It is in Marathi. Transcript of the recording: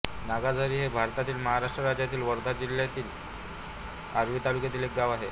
नागाझारी हे भारतातील महाराष्ट्र राज्यातील वर्धा जिल्ह्यातील आर्वी तालुक्यातील एक गाव आहे